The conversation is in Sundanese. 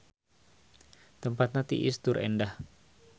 Tempatna tiis tur endah.